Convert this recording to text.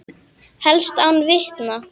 Helst án vitna.